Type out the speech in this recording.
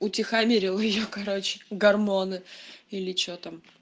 утихомирил я короче гормоны или что там